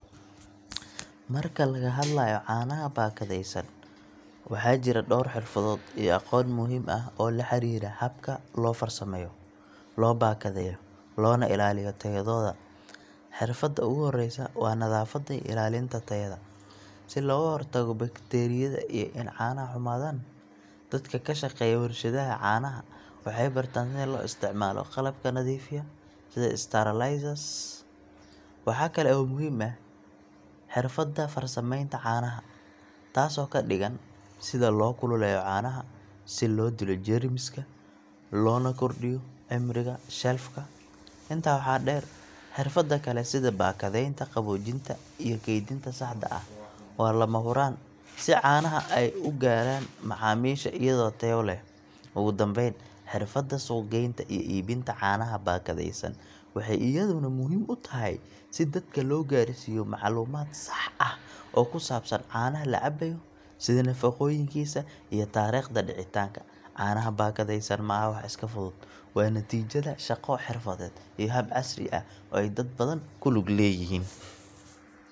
Marka laga hadlayo caanaha baakadaysan, waxaa jira dhowr xirfadood iyo aqoon muhiim ah oo la xiriira habka loo farsameeyo, loo baakadeeyo, loona ilaaliyo tayadooda. Xirfadda ugu horreysa waa nadaafadda iyo ilaalinta tayada, si looga hortago bakteeriyada iyo in caanaha xumaadaan. Dadka ka shaqeeya warshadaha caanaha waxay bartaan sida loo isticmaalo qalabka nadiifiya, sida sterilizers. Waxaa kale oo muhiim ah xirfadda farsamaynta caanaha, taasoo ka dhigan sida loo kululeeyo caanaha si loo dilo jeermiska, loona kordhiyo cimriga shelf ka. Intaa waxaa dheer, xirfado kale sida baakadaynta, qaboojinta iyo kaydinta saxda ah waa lama huraan, si caanaha ay u gaaraan macaamiisha iyadoo tayo leh. Ugu dambayn, xirfadda suuq-geynta iyo iibinta caanaha baakadaysan waxay iyaduna muhiim u tahay, si dadka loo gaarsiiyo macluumaad sax ah oo ku saabsan caanaha la cabayo, sida nafaqooyinkiisa iyo taariikhda dhicitaanka. Caanaha baakadaysan ma aha wax iska fudud, waa natiijada shaqo xirfadeed iyo hab casri ah oo ay dad badan ku lug leeyihiin.